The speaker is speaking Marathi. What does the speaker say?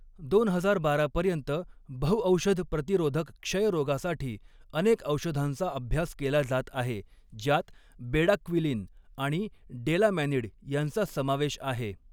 दोन हजार बारा पर्यंत बहुऔषध प्रतिरोधक क्षयरोगासाठी अनेक औषधांचा अभ्यास केला जात आहे, ज्यात बेडाक्विलीन आणि डेलामॅनिड यांचा समावेश आहे.